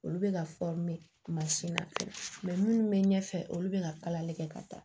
Olu bɛ ka minnu bɛ ɲɛfɛ olu bɛ ka kalali kɛ ka taa